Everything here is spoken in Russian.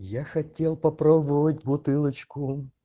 я хотел попробовать бутылочку